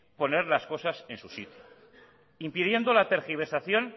poner las cosas en su sitio impidiendo la tergiversación